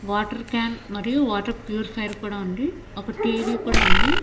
Water can మరియు water purifier కూడా ఉంది ఒక టీ_వీ కూడా ఉంది.